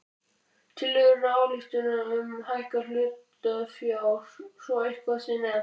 tillögu til ályktunar um hækkun hlutafjár svo eitthvað sé nefnt.